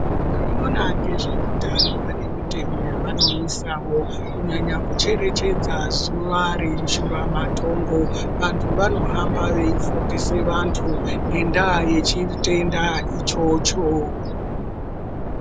Vanoona ngezveutano vane mitemo yavanoisawo kunyanya kucherechedza zuwa reishura matongo vantu vanohamba veifundise vantu ngendaa yechitenda ichocho.